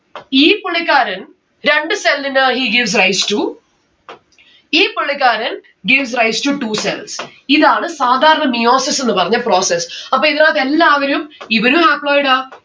ഈ പുള്ളിക്കാരൻ രണ്ടു cell ന് he gives rise to ഈ പുള്ളിക്കാരൻ gives rise to two cells ഇതാണ് സാധാരണ meiosis എന്ന് പറഞ്ഞ process. അപ്പൊ ഇതിനാത്ത്‌ എല്ലാവരും ഇവനു haploid ആ